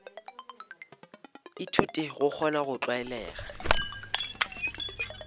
ithuta go kgona go tlwalega